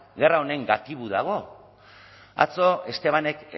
gerra honen gatibu dago atzo estebanek